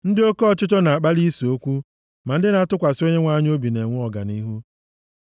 Ndị oke ọchịchọ na-akpali ise okwu, ma ndị na-atụkwasị Onyenwe anyị obi na-enwe ọganihu.